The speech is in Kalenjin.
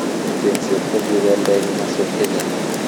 chengset kogigondo eng masweg chechang